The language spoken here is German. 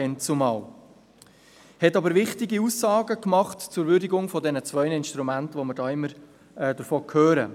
Sie machte aber wichtige Aussagen zur Würdigung dieser zwei Instrumente, von welchen wir immer hören.